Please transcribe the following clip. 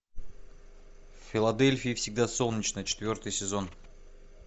в филадельфии всегда солнечно четвертый сезон